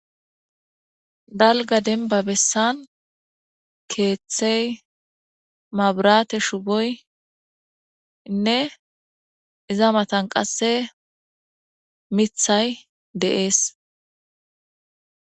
dalga denba bessan keeththey maburate shuboynne iza matan qasse mithay deees